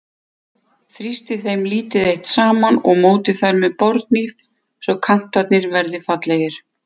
Þrýstið þeim lítið eitt saman og mótið þær með borðhníf svo kantarnir verði fallegir.